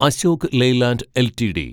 Ashok Leyland LTD